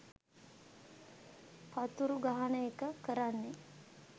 පතුරු ගහන එක කරන්නෙ.